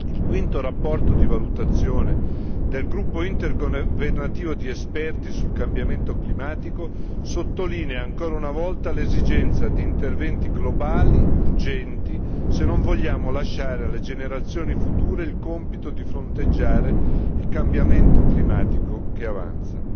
Il quinto rapporto di valutazione del gruppo intergovernativo di esperti sul cambiamento climatico sottolinea ancora una volta l'esigenza di interventi globali urgenti se non vogliamo lasciare alle generazioni future il compito di fronteggiare il cambiamento climatico che avanza.